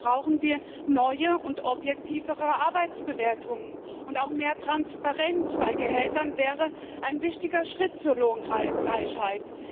Wir brauchen neue und objektivere Arbeitsbewertungen, und auch mehr Transparenz bei Gehältern wäre ein wichtiger Schritt zur Lohngleichheit.